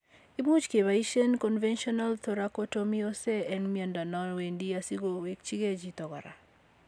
Imuch kepoisien Conventional thoracotomy ose en miondo non wendi asigowekige chito kora.